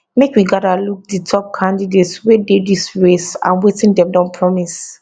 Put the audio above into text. make we gada look di top candidates wey dey dis race and wetin dem don promise